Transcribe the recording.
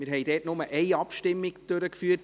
Dort haben wir aber nur Abstimmung durchgeführt.